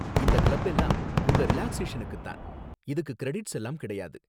இந்த கிளப் எல்லாம் உங்க ரிலாக்ஸேஷனுக்கு தான், இதுக்கு கிரெடிட்ஸ் எல்லாம் கிடையாது